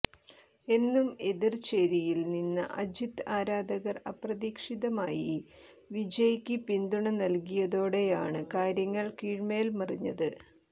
എന്നും എതിർ ചേരിയിൽ നിന്ന അജിത് ആരാധകർ അപ്രതീക്ഷിതമായി വിജയ്ക്ക് പിന്തുണ നൽകിയതോടെയാണ് കാര്യങ്ങൾ കീഴ്മേൽ മറിഞ്ഞത്